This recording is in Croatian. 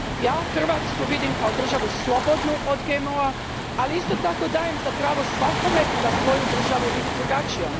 Ja Hrvatsku vidim kao državu slobodnu od GMO a, ali isto tako dajem za pravo svakome da svoju državu vidi drugačijom.